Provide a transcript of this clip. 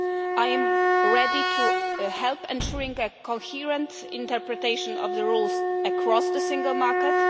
law. I am ready to help in ensuring a coherent interpretation of the rules across the Single Market.